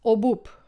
Obup?